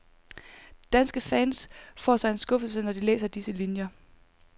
Danske fans får sig en skuffelse, når de læser disse linier.